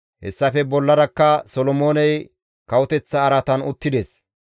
Hessafe bollarakka Solomooney kawoteththa araatan uttides.